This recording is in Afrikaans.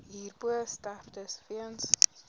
hierbo sterftes weens